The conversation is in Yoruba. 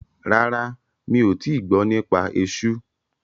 Rárá, mi ò tíì gbọ́ nípa esú.